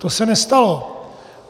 To se nestalo.